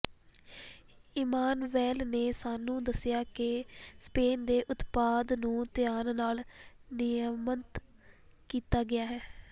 Emmanuel ਨੇ ਸਾਨੂੰ ਦੱਸਿਆ ਕਿ ਸ਼ੈਂਪੇਨ ਦੇ ਉਤਪਾਦ ਨੂੰ ਧਿਆਨ ਨਾਲ ਨਿਯਮਤ ਕੀਤਾ ਗਿਆ ਹੈ